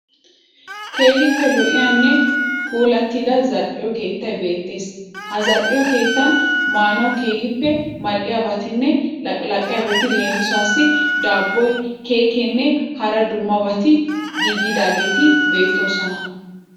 Keehippe lo'iyanne puullatida zal'iyo keettay beettees. Ha zal'iyo keettan maanawu keehippe mal'iyabatinne laqilaqiyabati leemisuwawu daabboy, keekkeenne hara dummabati giigidaageeti beettoosona.